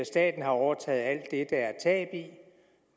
staten har overtaget alt det der er tab i